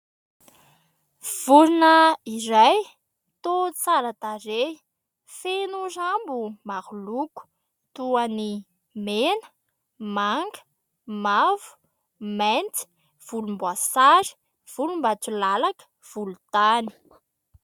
Vorona iray toa tsara tarehy, feno rambo maro loko toy ny : mena, manga, mavo, mainty, volomboasary, volombatolalaka, volontany.